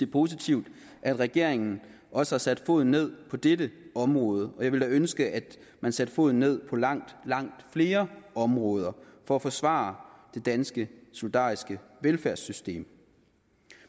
positivt at regeringen også har sat foden ned på dette område og jeg ville da ønske at man sætte foden ned på langt langt flere områder for at forsvare det danske solidariske velfærdssystem